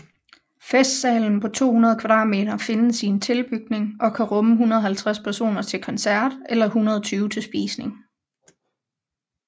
Festsalen på 200 m² findes i en tilbygning og kan rumme 150 personer til koncert eller 120 til spisning